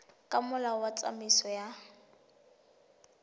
ka molao wa tsamaiso ya